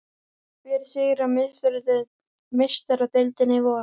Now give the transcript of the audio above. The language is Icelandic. Hver sigrar Meistaradeildina í vor?